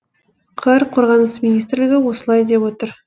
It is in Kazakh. қр қорғаныс министрлігі осылай деп отыр